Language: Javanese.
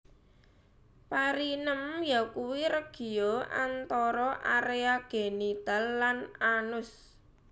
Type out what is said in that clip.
Perineum yakuwi regio antara area genital lan anus